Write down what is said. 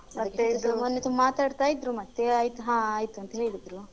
ಮತ್ತೆ ಇದು ಮೊನ್ನೆ ತುಂಬ ಮಾತಾಡ್ತಾ ಇದ್ರು ಮತ್ತೆ ಆಯ್ತು ಹಾ ಆಯ್ತು ಅಂತ ಹೇಳಿದ್ರು.